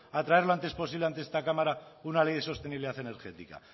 a traer lo antes posible ante esta cámara una ley de sostenibilidad energética